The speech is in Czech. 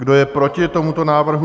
Kdo je proti tomuto návrhu?